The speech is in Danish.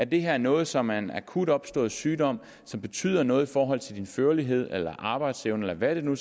det her er noget som er en akut opstået sygdom som betyder noget i forhold til patientens førlighed eller arbejdsevne eller hvad det nu